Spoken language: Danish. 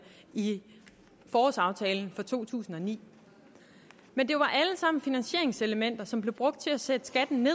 i forårsaftalen fra to tusind og ni men det var alt sammen finansieringselementer som blev brugt til at sætte skatten